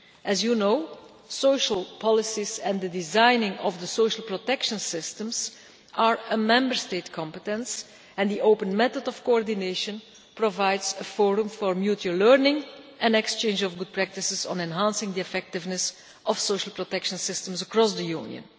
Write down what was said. As you know, social policies and the designing of the social protection systems are a Member State competence and the open method of coordination provides a forum for mutual learning and exchange of good practices on enhancing the effectiveness of social protection systems across the Union.